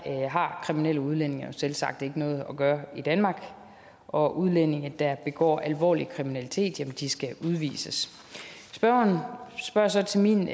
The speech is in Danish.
har kriminelle udlændinge jo selvsagt ikke noget at gøre i danmark og udlændinge der begår alvorlig kriminalitet skal udvises spørgeren spørger så til min